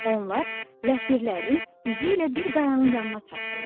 Onlar ləpirlərin izi ilə bir qayanın yanına çatdılar.